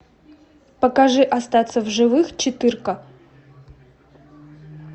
покажи остаться в живых четырка